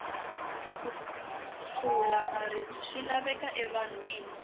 ku pfula maribye swa laveka e vanhwini